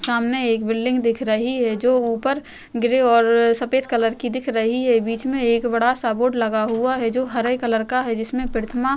सामने एक बिल्डिंग दिख रही है जो ऊपर ग्रे और सफ़ेद कलर की दिख रही है बीच में एक बड़ा सा बोर्ड लगा हुआ है जो हरे कलर का है जिसमें प्रतिमा --